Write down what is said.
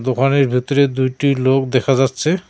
ঘরের ভেতরে দুইটি লোক দেখা যাচ্ছে।